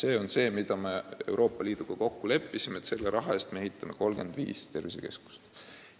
Me leppisime Euroopa Liiduga kokku, et selle raha eest me ehitame 35 tervisekeskust.